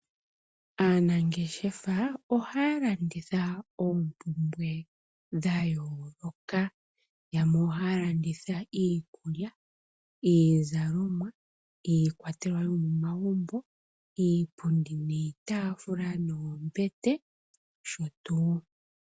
Aanangeshefa ohaya landitha oompumbwe dhayooloka. Yamwe ohaya landitha iikulya, iizalomwa, iikwatelwa yomomagumbo, iipundi niitaafula noombete, nosho tuu.